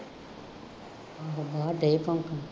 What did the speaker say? ਹਾਂ ਡੇ ਭੌਂਕਣ